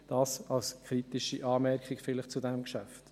Dies vielleicht als kritische Anmerkung zu diesem Geschäft.